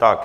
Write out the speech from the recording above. Tak.